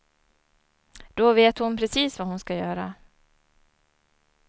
Då vet hon precis vad hon ska göra.